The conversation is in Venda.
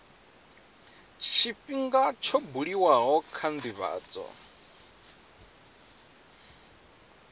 tshifhinga tsho buliwaho kha ndivhadzo